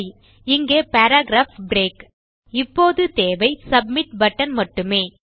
சரி இங்கே paragraph break இப்போது தேவை சப்மிட் பட்டன் மட்டுமே